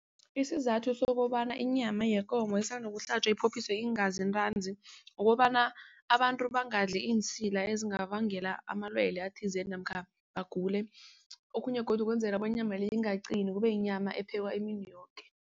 Isizathu sokobana inyama yekomo isanda ukuhlatjwa iphophiswe iingazi ntanzi. Kukobana abantu bangadli iinsila ezingabangela amalwele athizeni namkha bagule. Okhunye godu ukwenzela bonyana inyama le ingaqini kubeyinyama ephekwa imini yoke.